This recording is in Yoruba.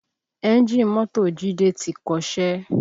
Ẹ́ńjì mọ́tò jide ti kọṣẹ́